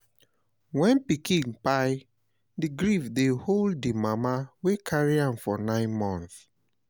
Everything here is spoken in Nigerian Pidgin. When pikin kpai, di grief dey hold di mama wey carry am for nine months